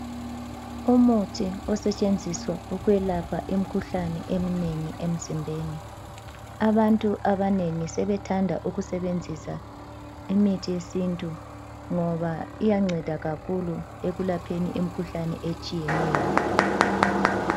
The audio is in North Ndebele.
Umuthi osetshenziswa ukwelapha imkhuhlane eminengi emzimbeni, abantu abanengi sebethanda ukusebenzisa imithi yesintu ngoba iyanceda kakhulu ekulapheni imkhuhlane etshiyeneyo.